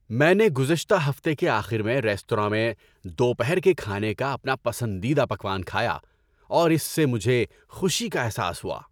میں نے گزشتہ ہفتے کے آخر میں ریستوراں میں دوپہر کے کھانے کا اپنا پسندیدہ پکوان کھایا، اور اس سے مجھے خوشی کا احساس ہوا۔